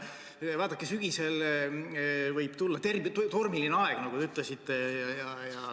Vaadake, sügisel võib tulla tormiline aeg, nagu teiegi ütlesite.